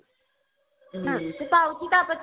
ପାଉଛି ତା ପାଖରେ ବି